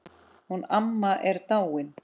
Hún amma er dáin.